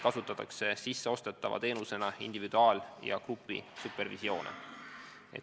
Sisseostetava teenusena kasutatakse individuaal- ja grupisupervisioone.